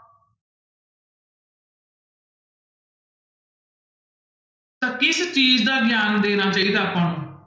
ਤਾਂ ਕਿਸ ਚੀਜ਼ ਦਾ ਗਿਆਨ ਦੇਣਾ ਚਾਹੀਦਾ ਆਪਾਂ ਨੂੰ?